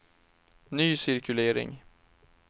ny cirkulering